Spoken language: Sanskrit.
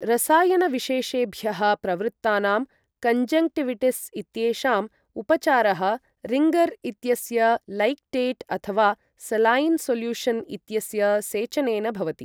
रसायनविशेषेभ्यः प्रवृत्तानां कञ्जङ्क्टिविटिस् इत्येषाम् उपचारः रिङ्गर् इत्यस्य लैक्टेट् अथवा सलायिन् सोल्यूशन् इत्यस्य सेचनेन भवति।